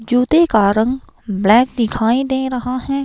जूते का रंग ब्लैक दिखाई दे रहा है।